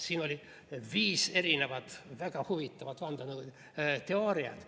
Siin oli viis erinevat väga huvitavat vandenõuteooriat.